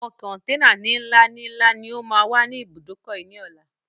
Àwọn kọntẹ́ẹ́nà ní ńlá ni ńlá ni ó má wá ní ibùdókọ̀ yìí ni ọ̀la